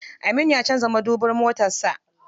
Aminu ya canza madubin motar sa.